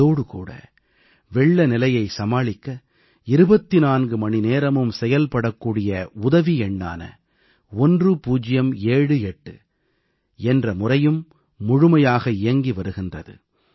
அதோடு கூட வெள்ளநிலையை சமாளிக்க 24 மணி நேரமும் செயல்படக்கூடிய உதவி எண்ணான 1078 என்ற முறையும் முழுமையாக இயங்கி வருகிறது